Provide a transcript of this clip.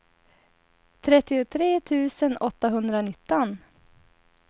trettiotre tusen åttahundranitton